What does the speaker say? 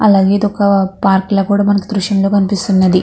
ఒక పార్ట్ లా కూడా మనకి దృశ్యంలో కనిపిస్తున్నది.